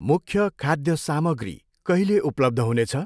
मुख्य खाद्य सामग्री कहिले उपलब्ध हुनेछ?